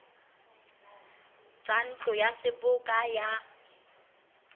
tsa ntlo ya seboka ya